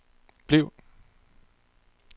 bliv